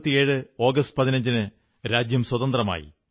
1947 ആഗസ്റ്റ് 15 ന് രാജ്യം സ്വതന്ത്രമായി